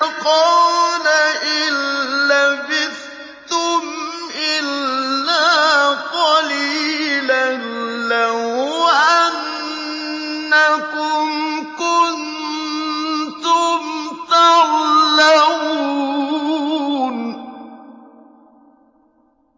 قَالَ إِن لَّبِثْتُمْ إِلَّا قَلِيلًا ۖ لَّوْ أَنَّكُمْ كُنتُمْ تَعْلَمُونَ